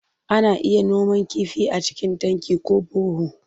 Ana iya noman kifi a cikin tanki ko baho.